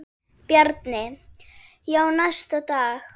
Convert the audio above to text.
Bjarni: Já, næsta dag.